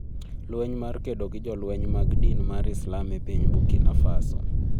lweny mar kedo gi jolweny mag din mar islam e piny Burkina Faso